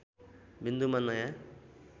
विन्दुमा नयाँ